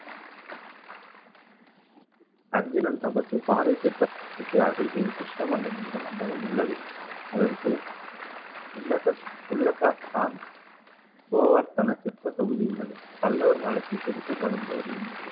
அர்ஜுனன் தபசு பாறை சிற்பத்துக்கு அருகில் கிருஷ்ண மண்டபம் என்ற மண்டபம் உள்ளது. அதற்கு கோவர்த்தன சிற்பத் தொகுதி உள்ளது. பல்லவர் காலத்தில் செதுக்கப்படும் போது இந்த சிற்பம்